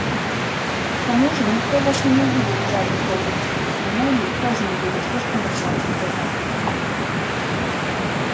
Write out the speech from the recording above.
к тому же никто вас и не увидит в задней комнате и мелли тоже не будет слишком бросаться в глаза